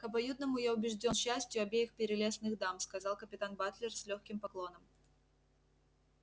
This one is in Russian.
к обоюдному я убежднн счастью обеих прелестных дам сказал капитан батлер с лёгким поклоном